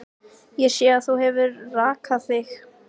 Reyndar þín plögg frekar en mín.